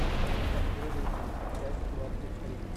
последователи часть двадцать три